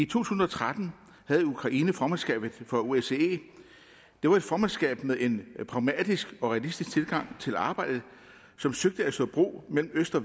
tusind og tretten havde ukraine formandskabet for osce det var et formandskab med en pragmatisk og realistisk tilgang til arbejdet som søgte at slå bro mellem øst og